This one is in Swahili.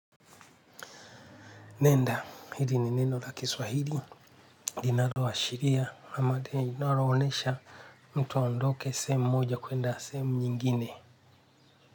Nenda, hili ni neno la Kiswahili linaloashiria, ama linaloonyesha mtu aondoke sehemu moja kuenda sehemu nyingine.